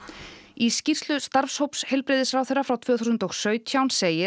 í skýrslu starfshóps heilbrigðisráðherra frá tvö þúsund og sautján segir